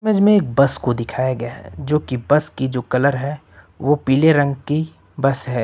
Image में एक bus को दिखाया गया है जो की बस की जो कलर है वो पीले रंग की बस है।